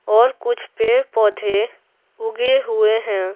और कुछ पेड़-पौधे उगे हुए हैं।